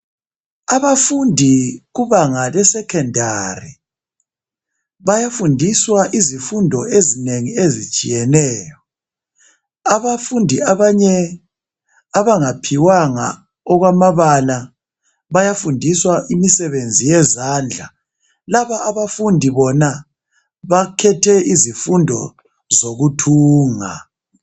Abafundi kabanga le secondary bayafundiswa izifundo ezinengi ezitshiyeneyo. Abafundi abanye abangaphiwanga okwamabala bayafundiswa imisebenzi yezandla. Laba abafundi bona bakhethe izifundo zokuthunga.